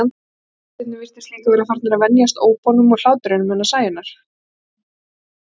Kettirnir virtust líka vera farnir að venjast ópunum og hlátrinum hennar Sæunnar.